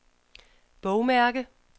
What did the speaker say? bogmærke